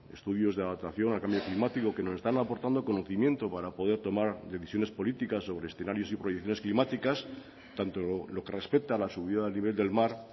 estudios de adaptación al cambio climático que nos están aportando conocimiento para poder tomar decisiones políticas sobre escenarios y proyecciones climáticas tanto en lo que respecta a la subida del nivel del mar